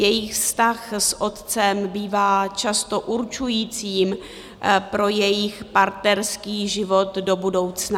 Jejich vztah s otcem bývá často určujícím pro jejich partnerský život do budoucna.